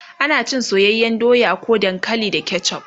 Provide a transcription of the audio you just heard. ana cin soyayyan doya ko dankali da ketchuf